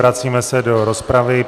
Vracíme se do rozpravy.